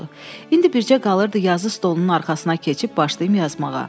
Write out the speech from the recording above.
İndi bircə qalırdı yazı stolunun arxasına keçib başlayım yazmağa.